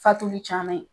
Fatuli caman ye